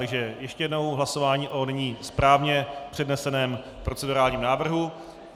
Takže ještě jednou hlasování o nyní správně předneseném procedurálním návrhu.